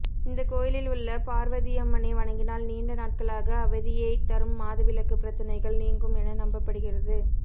இந்த கோயிலில் உள்ள பார்வதியம்மனை வணங்கினால் நீண்ட நாட்களாக அவதியை தரும் மாதவிலக்கு பிரச்சனைகள் நீங்கும் என நம்பப்படுகிறது